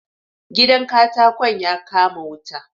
Gidan katakon ya kama wuta